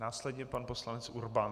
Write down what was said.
Následně pan poslanec Urban.